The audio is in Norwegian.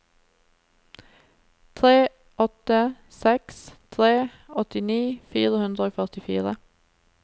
tre åtte seks tre åttini fire hundre og førtifire